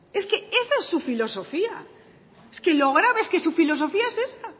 es que es esa su filosofía es que lo grave es que su filosofía es esa